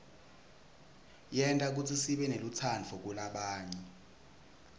yenta kutsi sibenelutsaadvu kulabanye